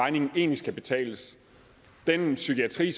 regningen egentlig skal betales det med psykiatrien